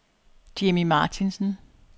Jimmy Martinsen